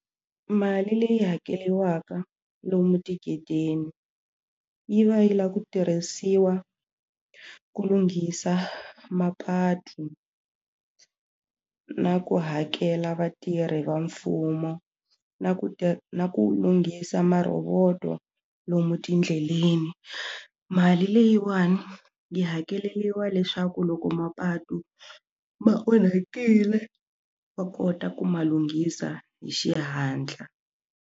Mali leyi hakeriwaka lomu tigedeni yi va yi lava ku tirhisiwa ku lunghisa mapatu na ku hakela vatirhi va mfumo na ku ti na ku lunghisa maroboto lomu tindleleni mali leyiwani yi hakeleliwa leswaku loko mapatu ma onhakile wa kota ku ma lunghisa hi xihatla.